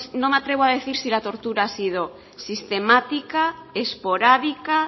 no me atrevo a decir si la tortura ha sido sistemática esporádica